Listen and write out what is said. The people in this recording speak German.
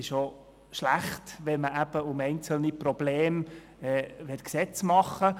Es wäre auch schlecht, ein Gesetz zu schreiben, um ein einzelnes Problem zu lösen.